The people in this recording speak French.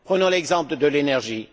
Prenons l'exemple de l'énergie.